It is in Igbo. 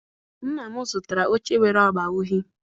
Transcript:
Nna m zụtara oche nwere agba uhie.